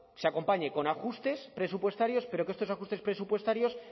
se acompañe con ajustes presupuestarios pero que estos ajustes presupuestarios